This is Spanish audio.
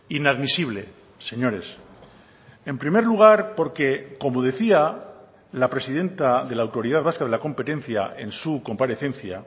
inadmisible señores en primer lugar porque como decía la presidenta de la autoridad vasca de la competencia en su comparecencia